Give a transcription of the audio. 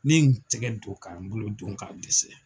Ni ye n tɛgɛ don ka n bolo don k'a dɛsɛ.